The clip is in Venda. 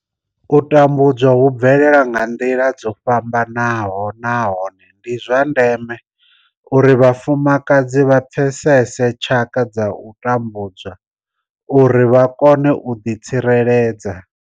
U tambudzwa hu bvelela nga nḓila dzo fhambanaho nahone ndi zwa ndeme uri vhafumakadzi vha pfesese tshaka dza u tambudzwa uri vha kone u ḓitsireledza.